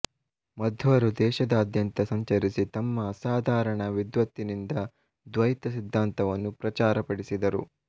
ಮಧ್ವರು ದೇಶಾದ್ಯಂತ ಸಂಚರಿಸಿ ತಮ್ಮ ಅಸಾಧಾರಣ ವಿದ್ವತ್ತಿನಿಂದ ದ್ವೈತ ಸಿದ್ಧಾಂತವನ್ನು ಪ್ರಚುರ ಪಡಿಸಿದರು